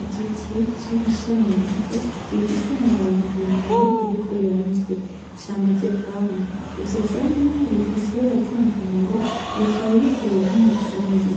Igiti camashami mato ariko gifise amababi maremare ariko yonze camaze kwama, ivyo vyamwa bifise ibara ryumuhondo bikaba biteye nkumuzingi.